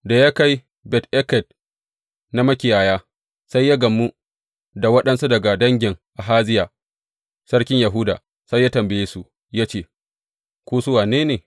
Da ya kai Bet Eked na Makiyaya, sai ya gamu da waɗansu daga dangin Ahaziya sarkin Yahuda, sai ya tambaye su, ya ce, Ku, su wane ne?